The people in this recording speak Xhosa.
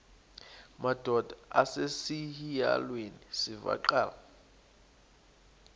madod asesihialweni sivaqal